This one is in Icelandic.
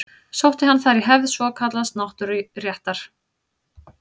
Sótti hann þar í hefð svokallaðs náttúruréttar.